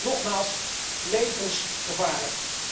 Nogmaals levensgevaarlijk!